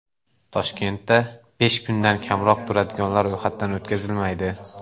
Toshkentda besh kundan kamroq turadiganlar ro‘yxatdan o‘tkazilmaydi.